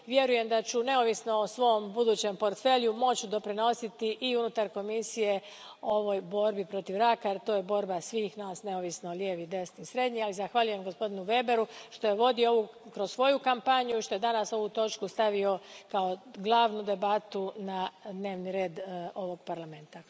Vjerujem da ću, neovisno o svom budućem portfelju, moći doprinositi i unutar Komisije ovoj borbi protiv raka jer to je borba svih nas, neovisno lijevi, desni, srednji, a i zahvaljujem gospodinu Weberu što je vodio ovo kroz svoju kampanju i što je danas ovu točku stavio kao glavnu debatu na dnevni red ovog Parlamenta.